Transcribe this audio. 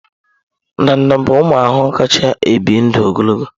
Ndanda bụ ụmụ ahụhụ kacha ebi ndụ ogologo.